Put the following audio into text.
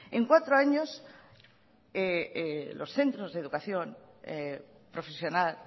en cuatro años los centros de educación profesional